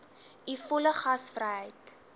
u volle gasvryheid